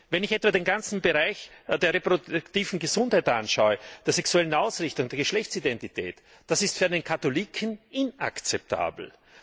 Wenn ich etwa den ganzen Bereich der reproduktiven Gesundheit anschaue, der sexuellen Ausrichtung, der Geschlechtsidentität das ist für einen Katholiken inakzeptabel!